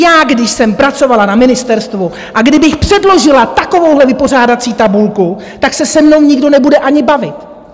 Já, když jsem pracovala na ministerstvu a kdybych předložila takovou vypořádací tabulku, tak se se mnou nikdo nebude ani bavit.